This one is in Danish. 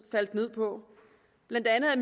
ned på blandt andet